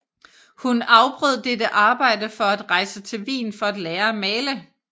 Hun afbrød dette arbejde for at rejse til Wien for at lære at male